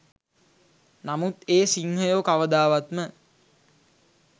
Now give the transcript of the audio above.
නමුත් ඒ සිංහයෝ කවදාවත්ම